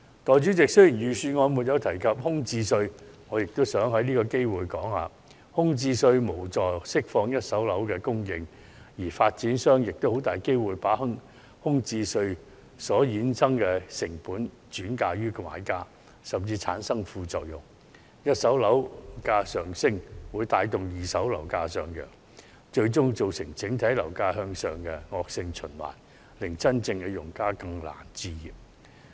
代理主席，雖然預算案沒有提及空置稅，我亦想藉此機會指出，空置稅無助釋放一手樓供應，反會令發展商把空置稅所衍生的成本轉嫁予買家，甚至使一手樓價上升或會帶動二手樓價上揚，最終造成整體樓價向上的惡性循環，令真正用家更難置業。